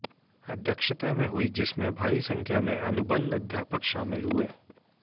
अध्यक्षता में हुई जिसमें भारी संख्या में अनुबंध अध्यापक शामिल हुए